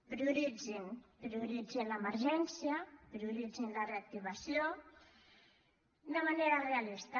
prioritzin prioritzin l’emergència prioritzin la reactivació de manera realista